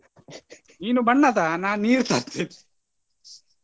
ನೀನು ಬಣ್ಣ ತಾ ನಾನು ನೀರು ತರ್ತೇನೆ .